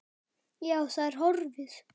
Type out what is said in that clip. Já, það er horfið.